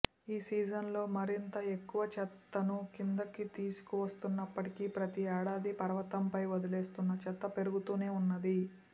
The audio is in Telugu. ఈ సీజన్లో మరింత ఎక్కువ చెత్తను కిందకు తీసుకువస్తున్నప్పటికీ ప్రతి ఏడాది పర్వతంపై వదిలేస్తున్న చెత్త పెరుగుతూనే ఉన్నది